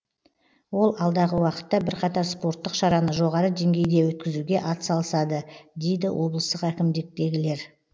ол алдағы уақытта бірқатар спорттық шараны жоғары деңгейде өткізуге атсалысады дейді облыстық әкімдіктегілер